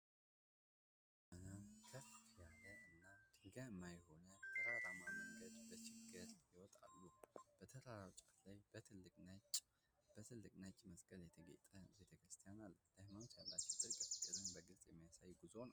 በርካታ ምዕመናን ከፍ ያለ እና ድንጋያማ የሆነን ተራራማ መንገድ በችግር ይወጣሉ። በተራራው ጫፍ ላይ በትልቁ ነጭ መስቀል የተጌጠ ቤተ ክርስቲያን አለ። ለሃይማኖት ያላቸውን ጥልቅ ፍቅርን በግልጽ የሚያሳይ ጉዞ ነው።